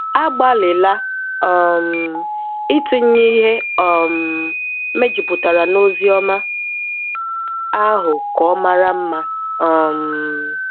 Agbalịla um itinye ihe um mejupụtara na Oziọma ahụ ka ọ mara mma. um